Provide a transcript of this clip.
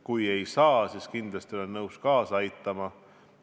Kui ei saa, siis kindlasti olen nõus aitama.